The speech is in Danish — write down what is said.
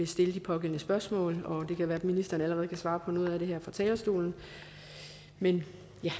stille de pågældende spørgsmål og det kan være at ministeren allerede kan svare på noget af det her fra talerstolen men